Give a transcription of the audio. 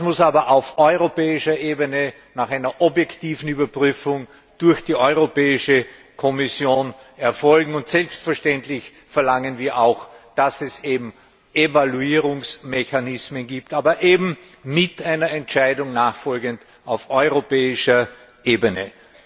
Das muss aber auf europäischer Ebene nach einer objektiven Überprüfung durch die Kommission erfolgen, und selbstverständlich verlangen wir auch, dass es Evaluierungsmechanismen gibt aber eben mit einer nachfolgenden Entscheidung auf europäischer Ebene.